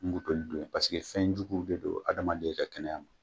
N don paseke fɛnjuguw de don adamaden ka kɛnɛya ma.